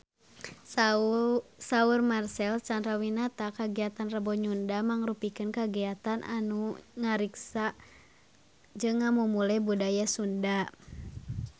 Saur Marcel Chandrawinata kagiatan Rebo Nyunda mangrupikeun kagiatan anu ngariksa jeung ngamumule budaya Sunda